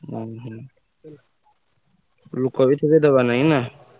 ଓହୋ ଲୋକବି ଥିବେ ଦବା ଲାଗି ନା?